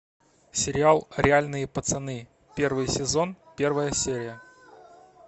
сериал реальные пацаны первый сезон первая серия